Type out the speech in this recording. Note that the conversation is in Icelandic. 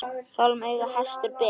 Hjálm í auga hestur ber.